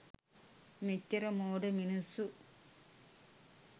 මෙච්චර මෝඩ මිනිස්සු